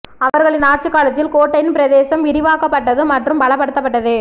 அவர்களின் ஆட்சி காலத்தில் கோட்டையின் பிரதேசம் விரிவாக்கப்பட்டது மற்றும் பலப்படுத்தப்பட்டது